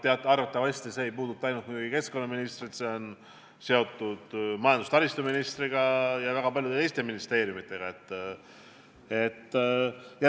Ent muidugi see teema ei puuduta ainult keskkonnaministrit, see on seotud ka majandus- ja taristuministriga ja mitme teise ministriga.